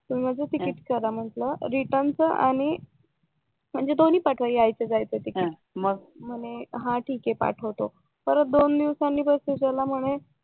मग माझ तिकीट करा म्हंटल रिटर्न च आणि म्हणजे दोन्ही पाठवा यायचं जायचं तिकीट म्हणे हां ठीक आहे पाठवतो परत दोन दिवसांनी प्रश्न विचारला म्हणे